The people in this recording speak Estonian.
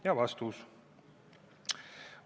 " Ja vastus.